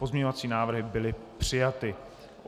Pozměňovací návrhy byly přijaty.